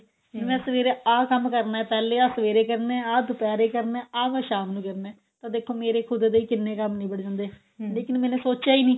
ਮੈਂ ਸਵੇਰੇ ਆਹ ਕੰਮ ਕਰਨਾ ਪਹਿਲੇ ਆ ਸਵੇਰੇ ਕਰਨਾ ਆਹ ਦੁਪਹਿਰੇ ਕਰਨਾ ਆਹ ਮੈਂ ਸ਼ਾਮ ਨੂੰ ਕਰਨਾ ਤਾਂ ਦੇਖੋ ਮੇਰੇ ਖੁਦ ਦੇ ਕਿੰਨੇ ਕੰਮ ਨਿਬੜ ਜਾਂਦੇ ਲੇਕਿਨ ਮੈਨੇ ਸੋਚਿਆ ਈ ਨੀ